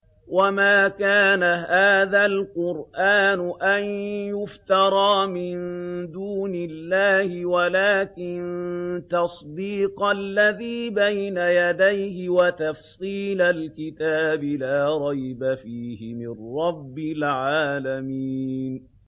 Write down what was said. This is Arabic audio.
وَمَا كَانَ هَٰذَا الْقُرْآنُ أَن يُفْتَرَىٰ مِن دُونِ اللَّهِ وَلَٰكِن تَصْدِيقَ الَّذِي بَيْنَ يَدَيْهِ وَتَفْصِيلَ الْكِتَابِ لَا رَيْبَ فِيهِ مِن رَّبِّ الْعَالَمِينَ